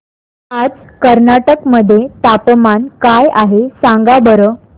आज कर्नाटक मध्ये तापमान काय आहे सांगा बरं